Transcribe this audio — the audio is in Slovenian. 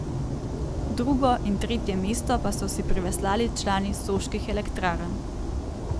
Drugo in tretje mesto pa so si priveslali člani soških elektrarn.